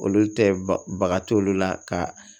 Olu tɛ baga t'olu la ka